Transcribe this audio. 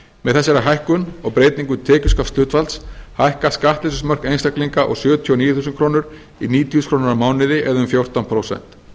með þessari hækkun og breytingu tekjuskatthlutfalls hækka skattleysismörk einstaklinga úr sjötíu og níu þúsund krónur í níutíu þúsund krónur á mánuði eða um fjórtán prósent